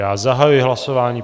Já zahajuji hlasování.